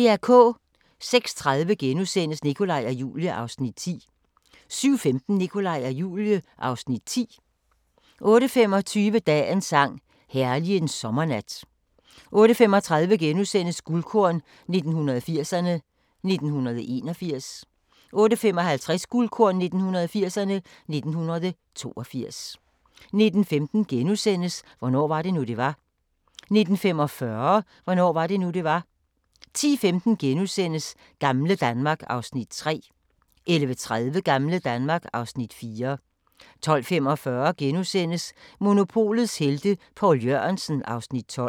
06:30: Nikolaj og Julie (Afs. 9)* 07:15: Nikolaj og Julie (Afs. 10) 08:25: Dagens sang: Herlig en sommernat 08:35: Guldkorn 1980'erne: 1981 * 08:55: Guldkorn 1980'erne: 1982 09:15: Hvornår var det nu, det var? * 09:45: Hvornår var det nu, det var? 10:15: Gamle Danmark (Afs. 3)* 11:30: Gamle Danmark (Afs. 4) 12:45: Monopolets Helte – Poul Jørgensen (Afs. 12)*